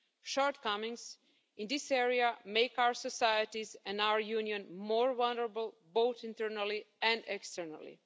Shortcomings in this area make our societies and our Union more vulnerable, both internally and externally.